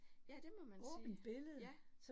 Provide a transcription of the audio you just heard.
Ja, det må man sige, ja